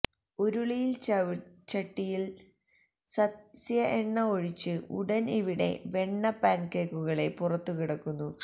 ഉരുളിയിൽ ചട്ടിയിൽ സസ്യ എണ്ണ ഒഴിച്ചു ഉടൻ ഇവിടെ വെണ്ണ പാൻകേക്കുകളെ പുറത്തു കിടന്നു